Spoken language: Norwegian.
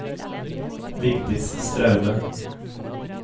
Vigdis Straume